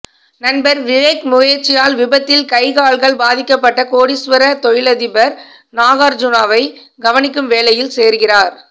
நண்பர் விவேக் முயற்சியால் விபத்தில் கை கால்கள் பாதிக்கப்பட்ட கோடிஸ்வர தொழிலதிபர் நாகார்சுணாவை கவனிக்கும் வேலையில் சேருகிறார்